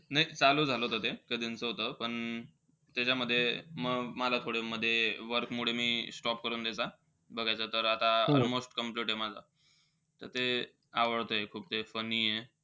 नाई ते चालू झालं होतं ते. कधींच होतं. पण त्याच्यामध्ये म मला थोडं मध्ये work मुळे मी stop करून द्यायचा बघायचा. तर आता almost complete आहे माझं. त ते आवडतंय खूप ते funny आहे.